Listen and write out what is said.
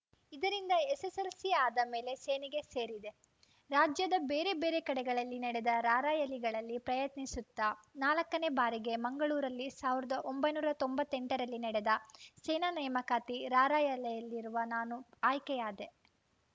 ಇದರಿಂದ ಎಸ್ಸೆಸ್ಸೆಲ್ಸಿ ಆದ ಮೇಲೆ ಸೇನೆಗೆ ಸೇರಿದೆ ರಾಜ್ಯದ ಬೇರೆ ಬೇರೆ ಕಡೆಗಳಲ್ಲಿ ನಡೆದ ರಾರ‍ಯಲಿಗಳಲ್ಲಿ ಪ್ರಯತ್ನಿಸುತ್ತಾ ನಾಲ್ಕನೇ ಬಾರಿಗೆ ಮಂಗಳೂರಲ್ಲಿ ಸಾವಿರದ ಒಂಬೈನೂರ ತೊಂಬತ್ತ್ ಎಂಟರಲ್ಲಿ ನಡೆದ ಸೇನಾ ನೇಮಕಾತಿ ರಾರ‍ಯಲಿಯಿರುವ ನಾನು ಆಯ್ಕೆಯಾದೆ